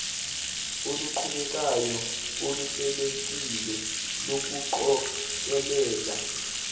oluqhubekayo oluhlelekile lokuqokelela